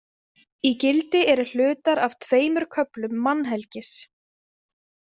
Í gildi eru hlutar af tveimur köflum Mannhelgis.